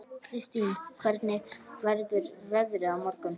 Kristine, hvernig verður veðrið á morgun?